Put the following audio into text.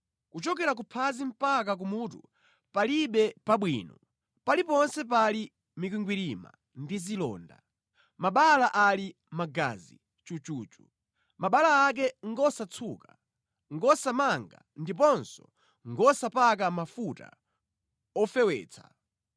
Kuchokera ku phazi mpaka ku mutu palibe pabwino, paliponse pali mikwingwirima ndi zilonda, mabala ali magazi chuchuchu, mabala ake ngosatsuka, ngosamanga ndiponso ngosapaka mafuta ofewetsa.